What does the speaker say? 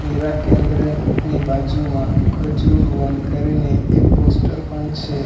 નીરા કેન્દ્રની બાજુમાં ખજુર વન કરીને એક પોસ્ટર પણ છે.